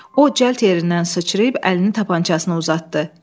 O, cəld yerindən sıçrayıb əlini tapancasına uzatdı.